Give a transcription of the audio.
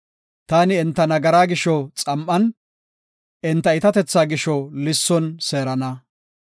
taani enta nagaraa gisho xam7an, enta iitatethaa gisho lisson seerana.